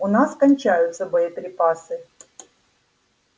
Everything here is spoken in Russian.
у нас кончаются боеприпасы